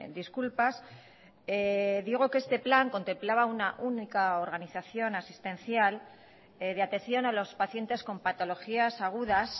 disculpas digo que este plan contemplaba una única organización asistencial de atención a los pacientes con patologías agudas